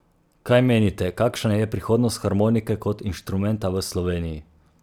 Kaj menite, kakšna je prihodnost harmonike kot inštrumenta v Sloveniji?